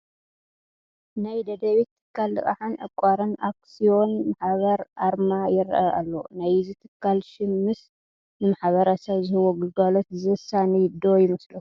ናይ ደደቢት ትካል ልቓሕን ዕቋርን ኣክስዮን ማሕበር ኣርማ ይርአ ኣሎ፡፡ ናይዚ ትካል ሽም ምስ ንማሕበረሰብ ዝህቦ ግልጋሎት ዘሳንይ ዶ ይመስለኩም?